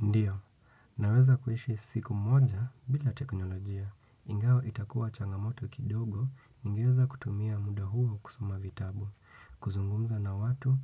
Ndio, naweza kuishi siku moja bila teknolojia. Ingawa itakuwa changamoto kidogo, ningeweza kutumia muda huo kusoma vitabu. Kuzungumza na watu